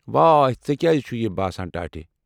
واے، ژےٚ کیٛازِ چھُے یہِ باسان ٹاٹھہِ ؟